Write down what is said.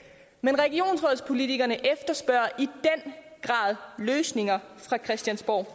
men regionsrådspolitikerne efterspørger i den grad løsninger fra christiansborg og